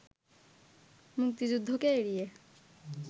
মুক্তিযুদ্ধকে এড়িয়ে